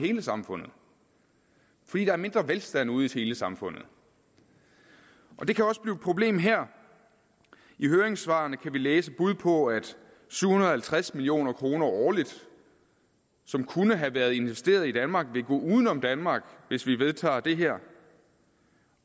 hele samfundet fordi der er mindre velstand ude i hele samfundet det kan også blive et problem her i høringssvarene kan vi læse bud på at syv hundrede og halvtreds million kroner årligt som kunne have været investeret i danmark vil gå uden om danmark hvis vi vedtager det her